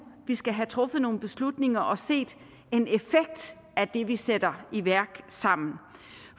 vi skal have truffet nogle beslutninger og set en effekt af det vi sætter i værk sammen